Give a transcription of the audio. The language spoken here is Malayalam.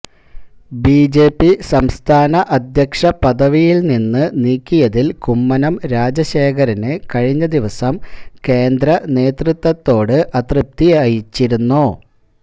ബിജെപി സംസ്ഥാന അധ്യക്ഷ പദവിയില് നിന്ന് നീക്കിയതില് കുമ്മനം രാജശേഖരന് കഴിഞ്ഞ ദിവസം കേന്ദ്ര നേതൃത്വത്തോട് അതൃപ്തിയിച്ചിരുന്നു